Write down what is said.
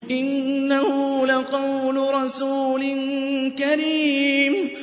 إِنَّهُ لَقَوْلُ رَسُولٍ كَرِيمٍ